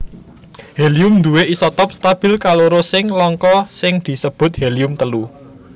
Helium nduwé isotop stabil kaloro sing langka sing disebut helium telu